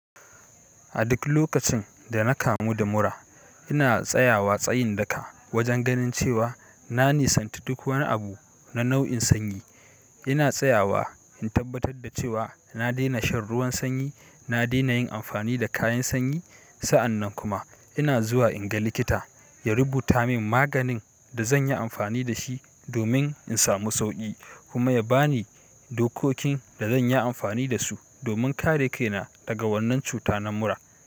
A duk lokacin da na kamu da mura, ina tsayawa tsayin daka wajen ganin cewa na nisanti duk wani abu na nau'in sanyi. Ina tsayawa in tabbatar da cewa na dena shan ruwan sanyi, na dena yin amfani da kayan sanyi. Sa'an nan kuma ina zuwa in ga likita ya rubuta min maganin da zan yi amfani da shi domin in samu sauƙi kuma ya ba ni dokokin da zan yi amfani da su domin kare kaina daga wannan cuta na mura.